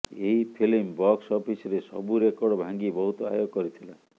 ଏହି film box ଅଫିସରେ ସବୁ ରେକର୍ଡ ଭାଙ୍ଗି ବହୁତ ଆୟ କରିଥିଲା